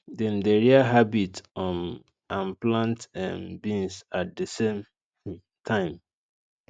dem dey rear rabbit um and plant um beans at the same um time